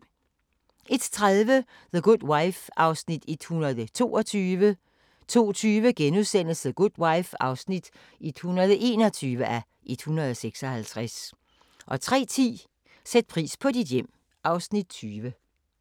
01:30: The Good Wife (122:156) 02:20: The Good Wife (121:156)* 03:10: Sæt pris på dit hjem (Afs. 20)